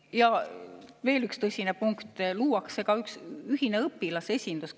Ja veel üks tõsine punkt: luuakse ka üks ühine õpilasesindus.